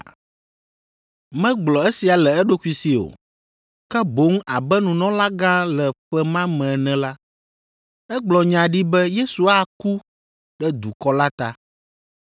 Megblɔ esia le eɖokui si o, ke boŋ abe nunɔlagã le ƒe ma me ene la, egblɔ nya ɖi be Yesu aku ɖe dukɔ la ta,